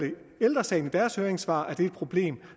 ældre sagen skriver i deres høringssvar at det er et problem